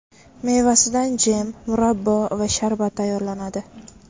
Mevasidan jem, murabbo va sharbat tayyorlanadi.